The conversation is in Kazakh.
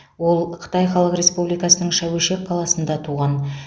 ол қытай халық республикасының шәуешек қаласында туған